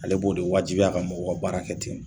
Ale b'o de wajibiya a ka mɔgɔw ka baarakɛ ten.